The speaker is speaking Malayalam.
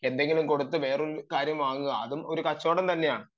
എന്തെങ്കിലും കൊടുത്തു വേറൊരു കാര്യം വാങ്ങുക അതും കച്ചവടം തന്നെയാണ്